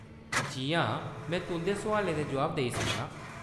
जी हां, में तुंʼदे सुआलें दे जवाब देई सकनां ।